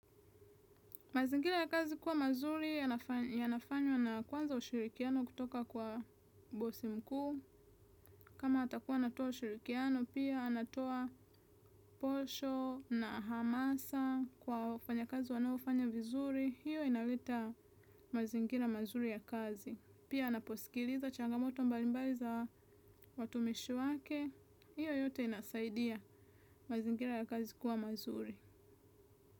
Mazingira ya kazi kuwa mazuri yanafanywa na kwanza ushirikiano kutoka kwa bosi mkuu. Kama atakuwa anatoa ushirikiano, pia anatoa posho na hamasa kwa wafanyakazi wanaofanya vizuri. Hiyo inaleta mazingira mazuri ya kazi. Pia anaposikiliza changamoto mbalimbali za watumishi wake. Hiyo yote inasaidia mazingira ya kazi kuwa mazuri.